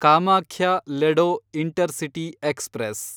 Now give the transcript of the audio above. Kamakhya Ledo intercity express